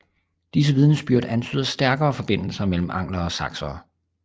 Disse vidnesbyrd antyder stærke forbindelser med anglere og saksere